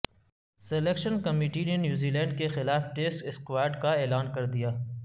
selection committee نے New Zealand کیخلاف test اسکواڈکا اعلان کردیا